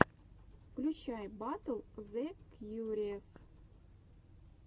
включай батл зэ кьюриэс